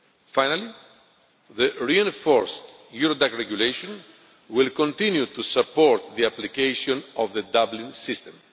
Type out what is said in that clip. Finally, the reinforced Eurodac Regulation will continue to support the application of the Dublin system.